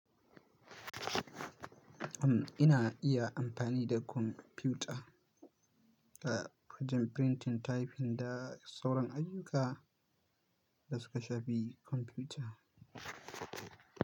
Ina iya amfani da kwamfuta a fagen printing, typing da sauran ayyuka da suka shafi kwamfuta.